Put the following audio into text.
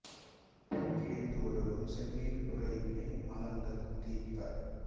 புண் கிழித்து ஒழுகும் செந்நீர் புரை வினை மலங்கள் தீர்ப்ப